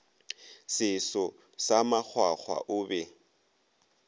seso sa makgwakgwa o be